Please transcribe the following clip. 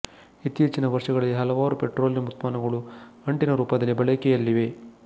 ಇತ್ತೀಚಿಗಿನ ವರ್ಷಗಳಲ್ಲಿ ಹಲವಾರು ಪೆಟ್ರೋಲಿಯಂ ಉತ್ಪನ್ನಗಳು ಅಂಟಿನ ರೂಪದಲ್ಲಿ ಬಳಕೆಯಲ್ಲಿವೆ